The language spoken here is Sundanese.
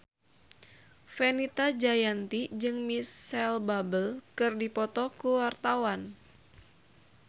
Fenita Jayanti jeung Micheal Bubble keur dipoto ku wartawan